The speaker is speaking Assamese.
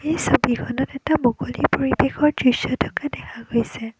এই ছবিখনত এটা মুকলি পৰিৱেশৰ দৃশ্য থকা দেখা গৈছে।